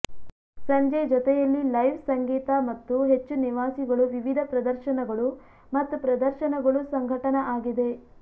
ಸಂಜೆ ಜೊತೆಯಲ್ಲಿ ಲೈವ್ ಸಂಗೀತ ಮತ್ತು ಹೆಚ್ಚು ನಿವಾಸಿಗಳು ವಿವಿಧ ಪ್ರದರ್ಶನಗಳು ಮತ್ತು ಪ್ರದರ್ಶನಗಳು ಸಂಘಟನಾ ಆಗಿದೆ